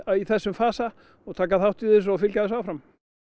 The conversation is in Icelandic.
í þessum fasa taka þátt í þessu og fylgja þessu áfram